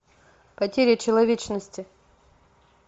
потеря человечности